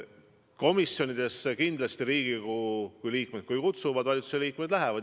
Komisjonidesse kindlasti, kui Riigikogu liikmed, kui komisjonid kutsuvad, valitsuse liikmed lähevad.